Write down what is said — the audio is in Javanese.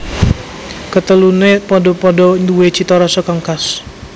Katelune padha padha nduwe cita rasa kang khas